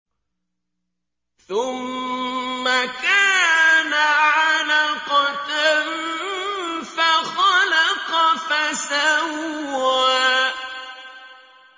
ثُمَّ كَانَ عَلَقَةً فَخَلَقَ فَسَوَّىٰ